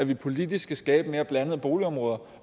vi politisk skal skabe nogle mere blandede boligområder